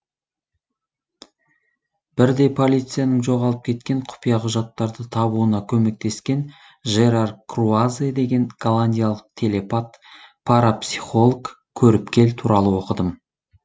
бірде полицияның жоғалып кеткен құпия құжаттарды табуына көмектескен жерар круазе деген голландиялық телепат парапсихолог көріпкел туралы оқыдым